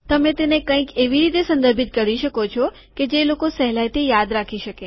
તમે તેને કંઈક એવી રીતે સંદર્ભિત કરી શકો છો કે જે લોકો સહેલાયથી યાદ રાખી શકે